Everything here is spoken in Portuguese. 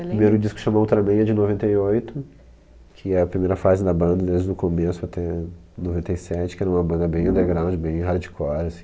O primeiro disco que chama ultramen é de noventa e oito, que é a primeira fase da banda, desde o começo até noventa e sete, que era uma banda bem underground, bem hardcore assim